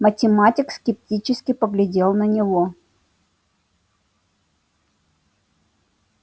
математик скептически поглядел на него